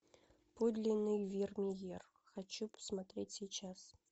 подлинный вермеер хочу посмотреть сейчас